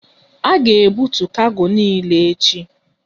A ga ebutu kargo niile echi!